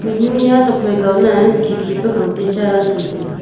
enu nya tuakphai kao na khikhi pe khangte cha ran cham taiga.